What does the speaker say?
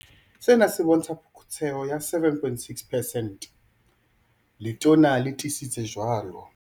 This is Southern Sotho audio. Sena se bontsha phokotseho ya 7.6 percent. Letona le tiisitse jwalo.